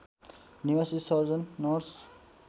निवासी surgeon nurse